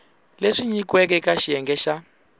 leswi nyikiweke eka xiyenge xa